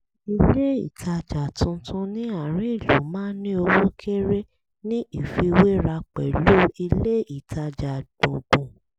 ilé ìtajà tuntun ní àárín ìlú máa ń ní owó kéré ní ìfiwéra pẹ̀lú ilé ìtajà gbùngbùn